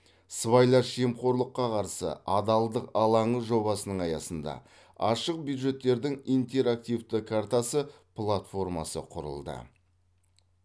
сыбайлас жемқорлыққа қарсы адалдық алаңы жобасының аясында ашық бюджеттердің интерактивті картасы платформасы құрылды